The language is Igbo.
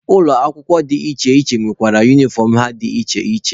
Ụlọ akwụkwọ dị iche iche nwekwara unifọm ha dị iche iche.